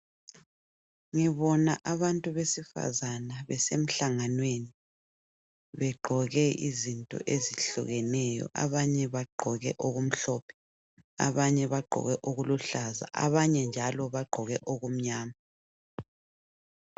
Ngibona abantu besifazana besemhlanganweni begqoke izinto ezihlukeneyo abanye bagqoke okumhlophe ,abanye bagqoke okuluhlaza abanye njalo bagqoke okumnyama.